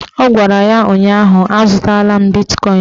Ọ gwara ya ụnyaahụ "Azụtala bitkọin ugbua"!